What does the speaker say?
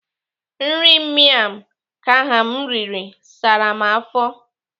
Nri miam kham m riri sara m afọ.